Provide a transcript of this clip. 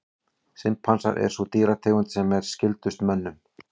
Simpansar er sú dýrategund sem er skyldust mönnum.